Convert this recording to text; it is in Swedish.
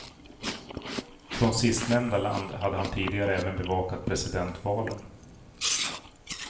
Från sistnämnda land hade han tidigare även bevakat presidentvalen.